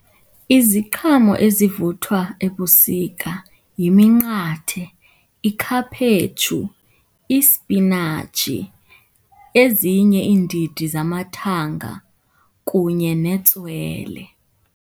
Iziqhamo ezivuthwa ebusika yiminqathe, ikhaphetshu, ispinatshi, ezinye iindidi zamathanga kunye netswele.